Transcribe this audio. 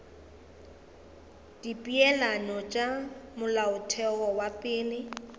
dipeelano tša molaotheo wa pele